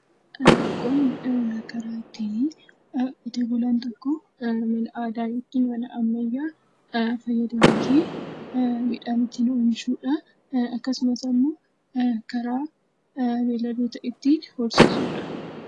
Qonni karaa ittiinii qotee bulaan tokko aadaa yookiin mala ammayyaa fayyadamuutiin midhaan ittiin oomishuudha. Akkasumas immoo karaa beeyladoota ittiin horsiisuu dha.